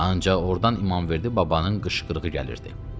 Ancaq ordan İmamverdi babanın qışqırığı gəlirdi.